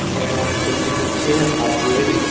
এখানটা অনেক সেলফি তুলছে হাত দিয়ে ।